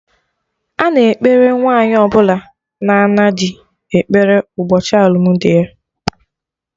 Ana ekpere Nwaanyi ọbụla na-ana dị ekpere ụbọchị alụmdi ya